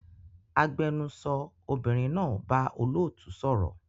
Agbẹnusọ obìnrin náà bá olóòtú sọ̀rọ̀